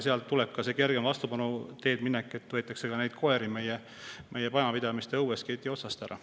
Sealt tuleb ka kergema vastupanu teed minek, nii et meie majapidamiste õuelt võetakse ka koeri keti otsast ära.